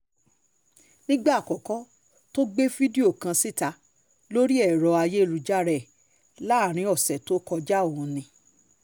nígbà àkọ́kọ́ tó gbé fídíò kan síta lórí ẹ̀rọ ayélujára ẹ̀ láàrin ọ̀sẹ̀ tó kọjá o ní